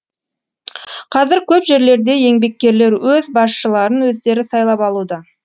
қазір көп жерлерде еңбеккерлер өз басшыларын өздері сайлап алуда